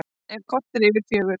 Klukkan korter yfir fjögur